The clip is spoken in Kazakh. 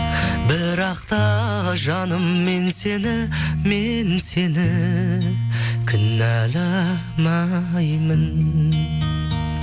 бірақ та жаным мен сені мен сені кінәламаймын